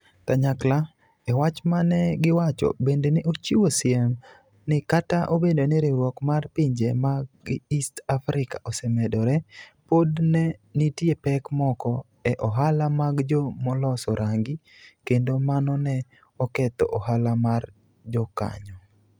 Kanyakla, e wach ma ne giwacho, bende ne ochiwo siem ni kata obedo ni riwruok mar pinje mag East Africa osemedore, pod ne nitie pek moko e ohala mag jo moloso rangi, kendo mano ne oketho ohala mar jokanyo.